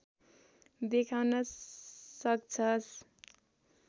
देखाउन सक्छस्